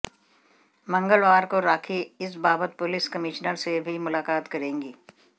मंगलवार को राखी इस बाबत पुलिस कमिश्नर से भी मुलाकात करेंगी